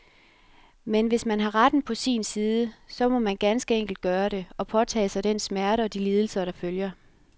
Men hvis man har retten på sin side, så må man ganske enkelt gøre det, og påtage sig den smerte og de lidelser, der følger.